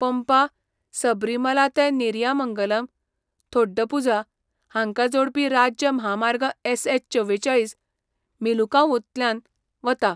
पंपा, सबरीमाला ते नेरियामंगलम, थोडुपुझा हांकां जोडपी राज्य म्हामार्ग एसएच चवेचाळीस मेलुकावूंतल्यान वता.